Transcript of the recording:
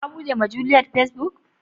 Kabude ma juliet facebook.